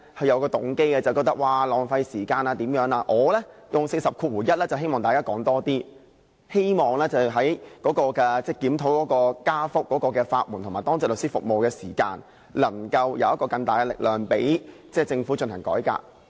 而我動用《議事規則》第401條則是希望大家多發言，希望藉檢討費用上調及法援和當值律師服務，能有更大力量，令政府進行改革。